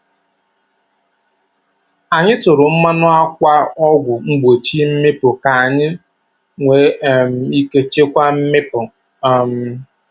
Anyị tụrụ mmanụ akwa ọgwụ mgbochi mmịpu ka anyị nwee um ike chịkwaa mmịpu. um